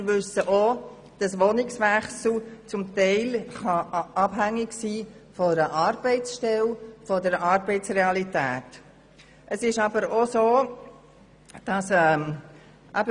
Wir wissen auch, dass ein Wohnungswechsel zum Teil von einer Arbeitsstelle respektive der Arbeitsrealität abhängig sein kann.